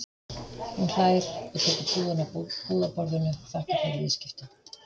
Hún hlær og tekur pokann af búðarborðinu, þakkar fyrir viðskiptin.